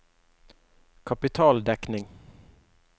kapitaldekning